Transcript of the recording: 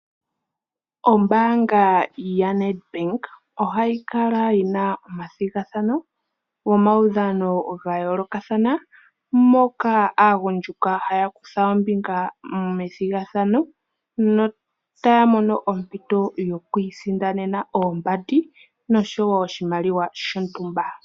Ombaanga yo Nedbank ohayi kala yina omathigathano gomaudhano gayoolokathana moka aagundjuka haya kutha ombinga methigathano notaya mono ompito yokwiisindanena oombandi noshowo oshimaliwa shontumba.